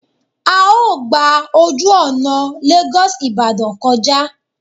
A ó gba ojú ọ̀nà Lagos Ibadan kọjá